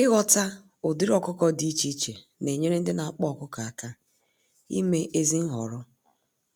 Ighọta ụdịrị ọkụkọ dị iche iche nenyere ndị n'akpa ọkụkọ àkà ime ezi nhọrọ,